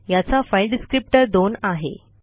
याचा file descriptor दोन आहे